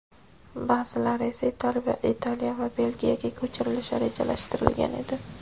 ba’zilari esa Italiya va Belgiyaga ko‘chirilishi rejalashtirilgan edi.